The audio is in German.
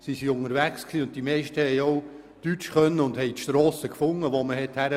Die meisten beherrschten auch die deutsche Sprache und haben die gesuchten Strassen jeweils gefunden.